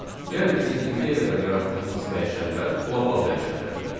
Yəni bizim indiyə qədər yaratdığımız dəyişənlər qlobal dəyişənlər idi.